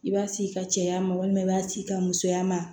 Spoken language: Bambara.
I b'a sigi ka cɛya malima i b'a ci i ka musoya ma